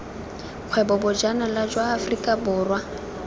kgwebo bojanala jwa aforika borwa